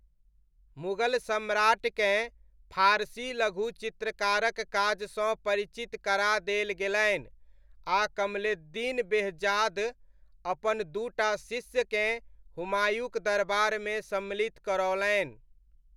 मुगल सम्राटकेँ फारसी लघुचित्रकारक काजसँ परिचित करा देल गेलनि, आ कमलेद्दीन बेहजाद अपन दू टा शिष्यकेँ हुमायूँक दरबारमे सम्मिलित करओलनि।